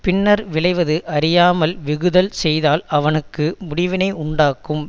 பின்னர் விளைவது அறியாமல் வெஃகுதல் செய்தால் அவனுக்கு முடிவினை உண்டாக்கும்